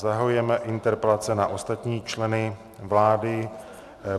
Zahajujeme interpelace na ostatní členy vlády.